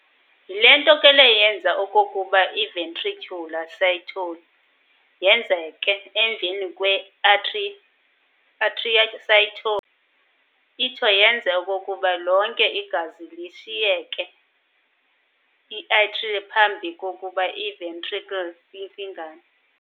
Yile nto ke le yenza okokuba i-ventricular systole yenzeke emva kwe-atrial systole, itsho yenze okokuba lonke igazi liyishiye i-atria phambi kokuba i-ventricle ifingane.